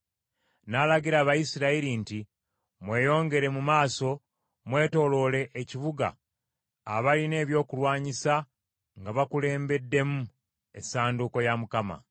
N’alagira Abayisirayiri nti, “Mweyongere mu maaso, mwetooloole ekibuga abalina ebyokulwanyisa nga bakulembeddemu Essanduuko ya Mukama .”